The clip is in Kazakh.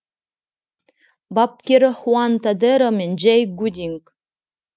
бапкері хуан тодеро мен джей гудинг